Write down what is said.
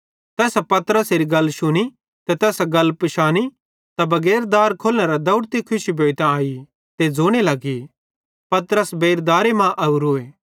तैसां पतरसेरी गल शुनी ते तैसां गल पिशानी ते बगैर दार खोलनेरां दौवड़ती खुशी भोइतां आई ते ज़ोने लगी पतरस बेइर दारे मां ओरोए